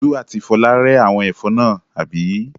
Olú àti Fọlá rẹ́ àwọn ẹ̀fọ́ náà, àbí?